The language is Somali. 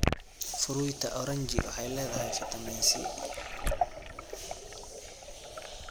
Fruita oranji waxay leedahay fiitamiin C.